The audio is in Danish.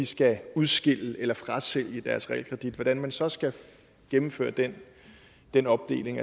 skal udskille eller frasælge deres realkredit hvordan man så skal gennemføre den den opdeling